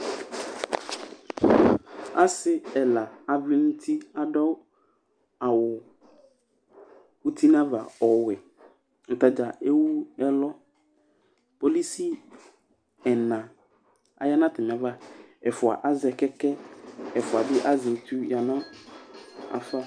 asi ɛla avlɛ nu uti adu awu uti na ava ɔwɛ atadza éwu ɛlu polisi ɛna aya na atamiava ɛfua azɛ kɛkɛ ɛfua bi azɛ étu yanu afa